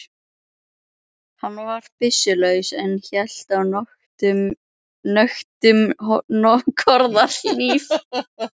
Hann var byssulaus en hélt á nöktum korðahníf.